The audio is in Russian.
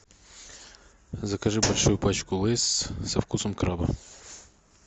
закажи большую пачку лейс со вкусом краба